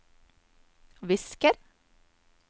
visker